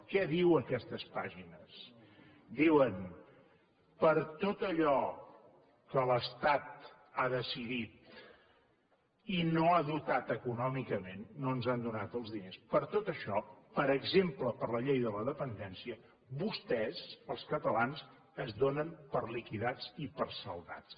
què diuen aquestes pàgines diuen per tot allò que l’estat ha decidit i no ha dotat econòmicament no ens n’han donat els diners per tot això per exemple per a la llei de la dependència vostès els catalans es donen per liquidats i per saldats